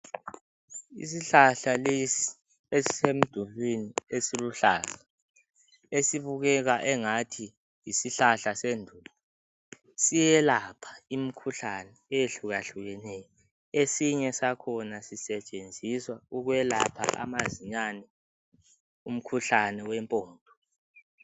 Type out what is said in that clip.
Isihlahla lesi esisemdulwini isiluhlaza esibukeka engathi yisihlahla sendulo siyelapha imkhuhlane ehlukahlukeneyo. Esinye sakhona sisetshenziswa ukwelapha amazinyane umkhuhlane wempondo.